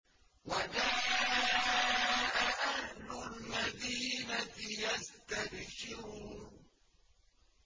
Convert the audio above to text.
وَجَاءَ أَهْلُ الْمَدِينَةِ يَسْتَبْشِرُونَ